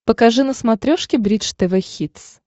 покажи на смотрешке бридж тв хитс